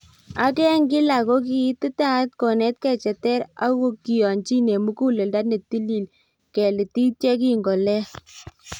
ak eng kilak kogi ititaat konetke cheter ,ak kiiyonjin eng muguleldo netilil kelitit yegingolel